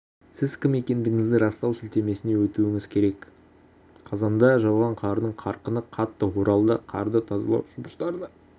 сіз кім екендігіңізді растау сілтемесіне өтуіңіз керек қазанда жауған қардың қарқыны қатты оралда қарды тазалау жұмыстарына